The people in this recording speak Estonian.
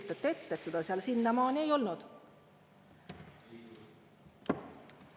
Ja kujutate ette, et seda seal siiamaani ei olnud!